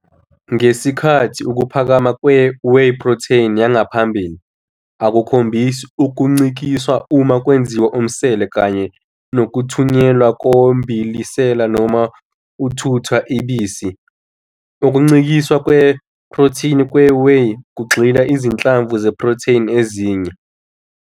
Ngesikhathi ukuphakama kwe-whey protein yangaphambili akukhombisi ukuncikiswa uma kwenziwa umsele kanye nokuthunyelwa kombilisela noma uthutha i-bisi, ukucikiswa kweprothini kwe-whey kugxila izinhlamvu ze-protein ezine, futhi kushintsha umbilisela we-protein.